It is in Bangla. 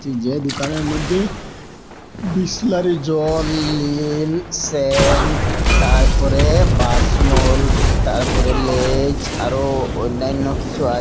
যেই দোকানের মদ্যে বিসলারি জল এল স্যান্ট তারপরে বাসমল তারপরে লেজ আরোও অন্যান্য কিছু আছ--